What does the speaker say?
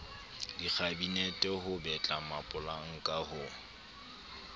dikhabinete ho betla mapolanka ho